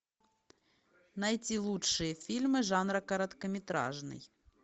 найти лучшие фильмы жанра короткометражный